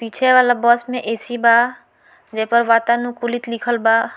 पीछे वाला बस में ए.सी. बा जे पर वातानुकूलित लिखल बा।